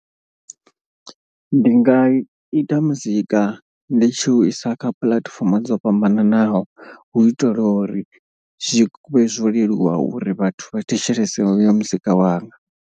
Ndi nga ita muzika ndi tshi u isa kha puḽatifomo dzo fhambananaho. Hu itela uri zwi vhe zwo leluwa uri vhathu vha thetshelese hoyo muzika wanga.